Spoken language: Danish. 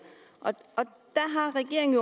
der har regeringen